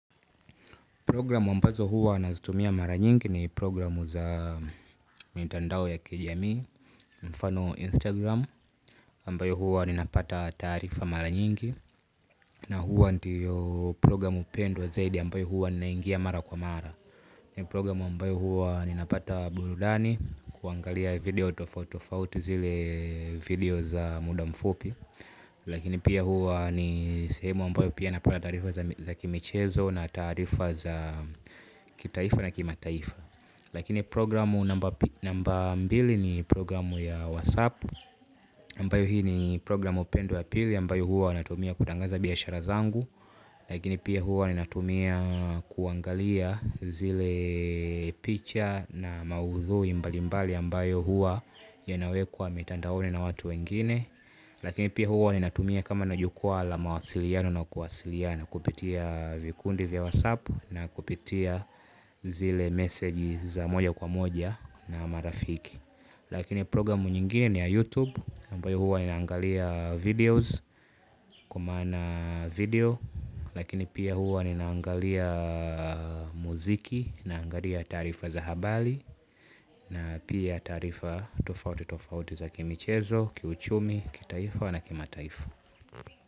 Programu ambazo huwa nazitumia mara nyingi ni programu za mitandao ya kijamii. Mfano Instagram, ambayo huwa ninapata taarifa mara nyingi. Na huwa ndiyo programu pendwa zaidi ambayo huwa naingia mara kwa mara. Ni programu ambayo huwa ninapata burudani kuangalia video tofauti tofauti zile video za muda mfupi. Lakini pia huwa ni sehemu ambayo pia napata taarifa za kimichezo na taarifa za kitaifa na kimataifa. Lakini programu namba mbili ni programu ya WhatsApp Ambayo hii ni programu pendwa ya pili ambayo huwa natumia kutangaza biashara zangu. Lakini pia huwa ninatumia kuangalia zile picha na maudhui mbalimbali ambayo huwa yanawekwa mitandaoni na watu wengine. Lakini pia huwa ninatumia kama na jukwaa la mawasiliano na kuwasiliana kupitia vikundi vya whatsapp na kupitia zile meseji za moja kwa moja na marafiki. Lakini programu nyingine ni ya youtube ambayo huwa ninaangalia videos kwa maana video. Lakini pia huwa ninaangalia muziki naangalia taarifa za habari. Na pia taarifa tofauti tofauti za kimichezo kiuchumi, kitaifa na kimataifa.